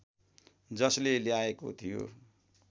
जसले ल्याएको थियो